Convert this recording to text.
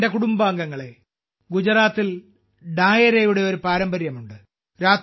എന്റെ കുടുംബാംഗങ്ങളേ ഗുജറാത്തിൽ ഡായരയുടെ ഒരു പാരമ്പര്യമുണ്ട്